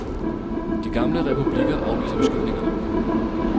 De gamle republikkerne afviser beskyldningerne.